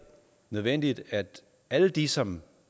nødvendigt at alle de som